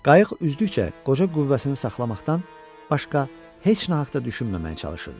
Qayıq üzdükcə qoca qüvvəsini saxlamaqdan başqa heç nə haqqda düşünməməyə çalışırdı.